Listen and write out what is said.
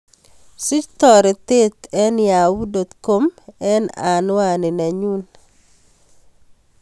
Sich toretet en yahoo dot com en anwaninyun